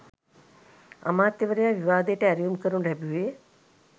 අමාත්‍යවරයා විවාදයට ඇරයුම් කරනු ලැබුවේ